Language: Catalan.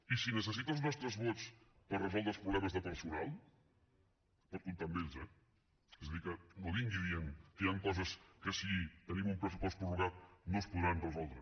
i si necessita els nostres vots per resoldre els problemes de personal pot comptar amb ells eh és a dir que no vingui dient que hi ha coses que si tenim un pressupost prorrogat no es poden resoldre